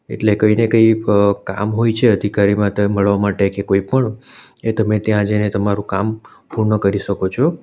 એટલે કંઇ ને કંઈ અહ કામ હોય છે અધિકારી માટે મળવા માટે કોઈ પણ એ તમે ત્યાં જઈને તમારું કામ પૂર્ણ કરી શકો છો.